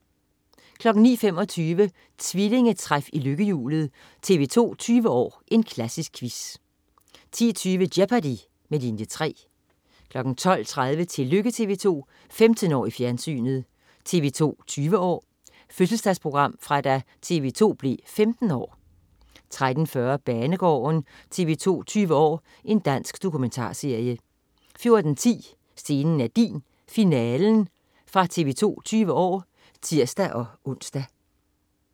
09.25 Trillingetræf i lykkehjulet. TV 2 20 år: Klassisk quiz 10.20 Jeopardy! med Linie 3 12.30 Tillykke TV 2. 15 år i fjernsynet. TV 2 20 år: Fødselsdagsprogram fra da TV 2 blev 15 år 13.40 Banegården. TV 2 20 år: Dansk dokumentarserie 14.10 Scenen er din. Finale. TV 2 20 år (tirs-ons)